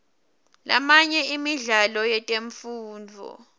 lamanye emidlalo yetemfundvo